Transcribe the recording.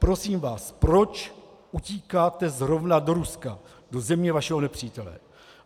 Prosím vás, proč utíkáte zrovna do Ruska, do země vašeho nepřítele?